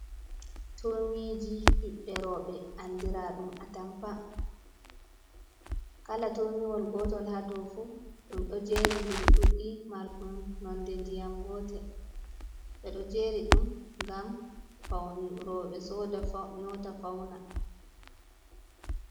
Turmiji ɓiɓɓe roɓɓe andira ɗum a tampa, kala turmiwol gotol ha ɗo fu ɗum ɗo jeri dir ɗuɗɗi marɗum nonde ndiyam gotel ɓeɗo jeri ɗum gam faun roɓɓe soda nyota fauna.